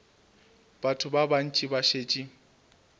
batho ba bantši ba šetše